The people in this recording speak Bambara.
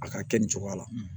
A ka kɛ nin cogoya la